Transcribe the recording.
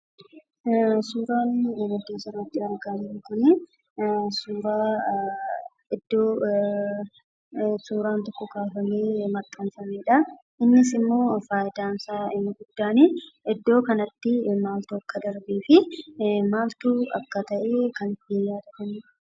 Suuraan asii gaditti argamu Kun iddoo wanti tokko kaafamee itti maxxanfamuu dha. Innis kan tajaajiluu iddoo kanatti maal akka darbee fi akka ta'e kan nu tajaajiluu dha.